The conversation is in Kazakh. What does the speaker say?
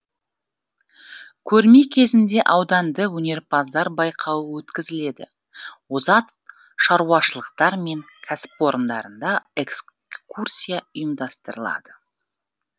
көрме кезінде ауданды өнерпаздар байқауы өткізіледі озат шаруашылықтар мен кәсіпорындарда экскурсия ұйымдастырылады